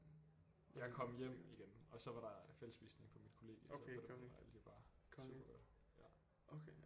Jeg kom hjem igen og så var der fællesspisning på mit kollegie så på den måde var alt jo bare super godt